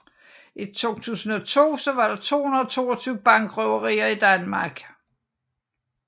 I 2002 var der 222 bankrøverier i Danmark